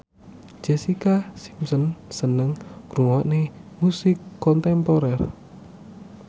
Jessica Simpson seneng ngrungokne musik kontemporer